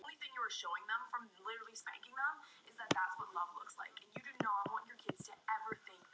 Þér verður gott af þessu